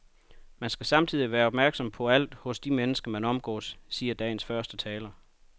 Man skal samtidig være opmærksomhed på alt hos de mennesker, man omgås, siger dagens første taler.